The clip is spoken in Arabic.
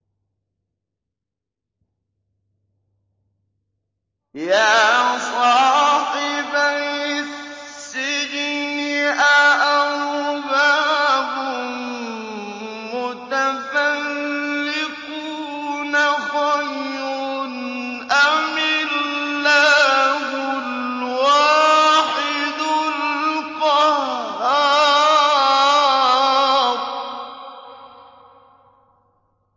يَا صَاحِبَيِ السِّجْنِ أَأَرْبَابٌ مُّتَفَرِّقُونَ خَيْرٌ أَمِ اللَّهُ الْوَاحِدُ الْقَهَّارُ